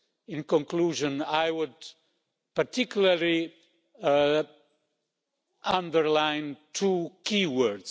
In conclusion, I would particularly underline two key words.